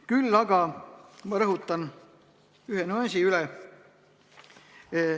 Küll aga rõhutan ühe nüansi üle.